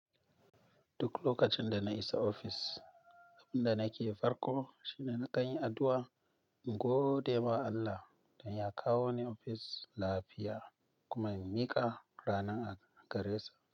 Duk lokacin da na isa ofis, abin da nake farko shine na kan yi addu'a in gode ma Allah don ya kawo ni ofis lafiya kuma in miƙa ranan a gare sa.